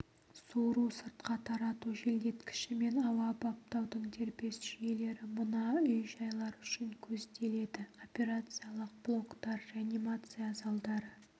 сору-сыртқа тарату желдеткіші мен ауа баптаудың дербес жүйелері мына үй-жайлар үшін көзделеді операциялық блоктар реанимация залдары